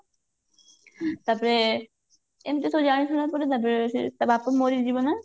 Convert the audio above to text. ତାପରେ ଏମିତି ତୁ ଜାଣିଛୁ ନା ଏପଟେ ସେ ତା ବାପ ମରିଯିବ ନା